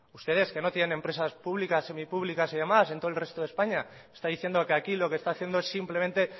ustedes que no tienen empresas públicas semipúblicas y demás en todo el resto de españa está diciendo que aquí lo que está haciendo es simplemente